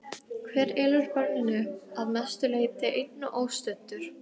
Hver elur börnin upp, að mestu leyti einn og óstuddur?